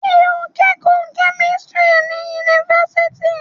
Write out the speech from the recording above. Ṣé o ń kẹ́kọ̀ọ́ kẹ́mísítírì ní yunifásitì?